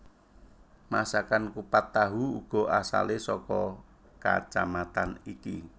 Masakan kupat tahu uga asalé saka kacamatan iki